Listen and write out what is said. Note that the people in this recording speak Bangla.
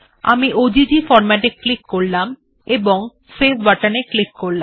আমি ওজিজি ফরম্যাট এ ক্লিক করলাম ও সেভ বাটন এ ক্লিক করলাম